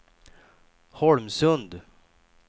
Holmsund